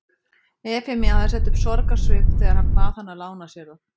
Efemía hafði sett upp sorgarsvip þegar hann bað hana að lána sér það.